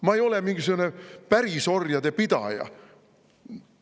Ma ei ole mingisugune pärisorjade pidaja.